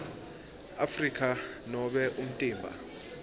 afrika nobe umtimba